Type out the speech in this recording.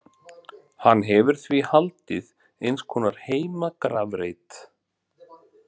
Hann hefur því haldið eins konar heimagrafreit.